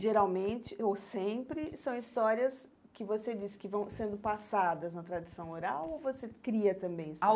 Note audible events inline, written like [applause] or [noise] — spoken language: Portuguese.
Geralmente, ou sempre, são histórias que você diz que vão sendo passadas na tradição oral ou você cria também? [unintelligible]